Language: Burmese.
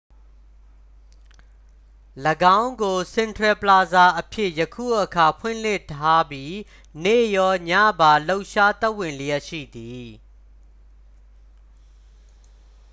၎င်းကို စင်ထရယ်ပလာဇာအဖြစ် ယခုအခါ ဖွင့်လှစ်ထားပြီး နေ့ရောညပါ လှုပ်ရှားသက်ဝင်လျှက်ရှိသည်